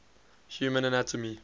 human anatomy